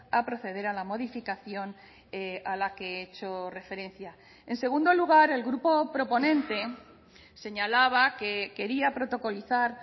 a proceder a la modificación a la que he hecho referencia en segundo lugar el grupo proponente señalaba que quería protocolizar